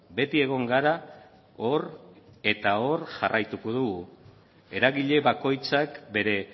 beti egon gara hor eta hor jarraituko dugu eragile bakoitzak bere